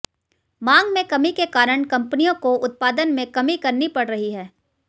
मांग में कमी के कारण कंपनियों को उत्पादन में कमी करनी पड़ रही है